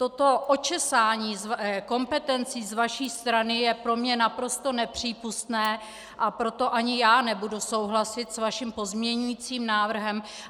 Toto očesání kompetencí z vaší strany je pro mě naprosto nepřípustné, a proto ani já nebudu souhlasit s vaším pozměňujícím návrhem.